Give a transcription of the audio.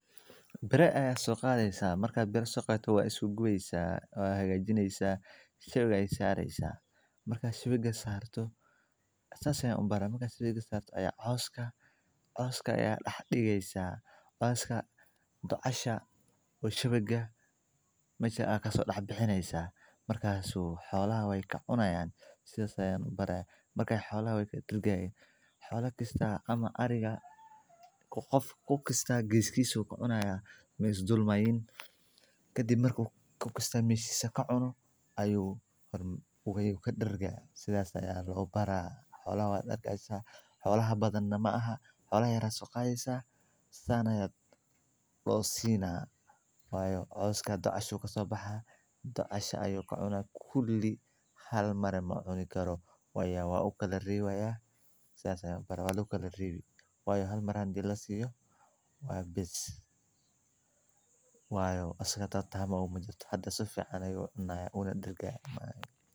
biraha sokaaythasa markaa biro soo qaybto waa isku guweysa, waa hagajineysa, shawaga ay saaraysa. Markaa shawiga saarto, sasaayen umbaraa markaa shawiga saarto ayaa cawska. Cawska ayaa dhaxdhiigaysa. Cawska doocasho wuu shawiga mashaaka soo dhac-bixinaysa. Markaa suu xoola way ka cunayaan. Sida sayan u baraa markii xoolahay ka dirgaayeen. Xoolo kasta ama ariga ku qof ku kasta giizkii suu ka cunaya miis dulmayn. Ka dib markuu ku kasta miis ka cuno ayuu ugu wey u ka dhergaya. Sidaas aya la obbaara. Xoolaha dhaqaysa. Xoolaha badan nama aha. Xoolo yara soo qaaysa saanaya dhoosiina. Waayo. Cawska doocashu kasoo baxaa. Doocashu ayuu ka cunaa kulii. Hal maray macnuuni karo. Wayaa waa u kala riwayaa sida sayn u baraa waa la kala riwayee. Waayo hal mar han jil la siiyo. Way bisi. Waayo asagata taama u majiyo. Hadda si fiican ayuu unaa dirgaah maay.